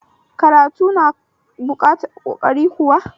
Karatu na buƙatar ƙoƙari kuwa?